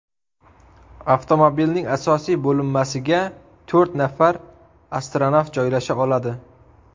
Avtomobilning asosiy bo‘linmasiga to‘rt nafar astronavt joylasha oladi.